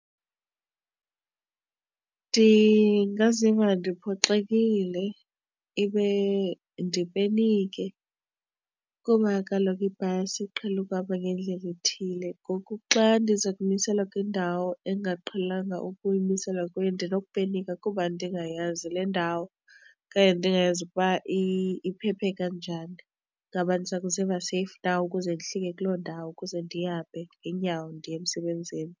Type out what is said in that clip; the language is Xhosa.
Ndingaziva ndiphoxekile ibe ndipenike kuba kaloku ibhasi iqhele ukuhamba ngendlela ethile. Ngoku xa kuba ndiza kumiselwa kwindawo endingaqhelanga ukuyimiselwa kuyo ndinokupenika kuba ndingayazi le ndawo okanye ndingayazi ukuba iphephe kanjani. Ngaba ndiza kuziva seyifu na ukuze ndihlike kuloo ndawo ukuze ndihambe ngeenyawo ndiye emsebenzini?